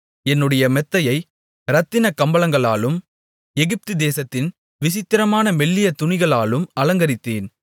என்னுடைய மெத்தையை இரத்தினக் கம்பளங்களாலும் எகிப்து தேசத்தின் விசித்திரமான மெல்லிய துணிகளாலும் அலங்கரித்தேன்